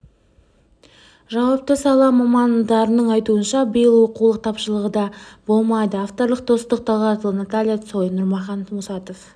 жауапты сала мамандарының айтуынша биыл оқулық тапшылығы да болмайды авторлары достық талғатұлы наталья цой нұрмахан мұсатов